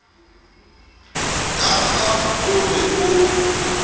ka ba o re o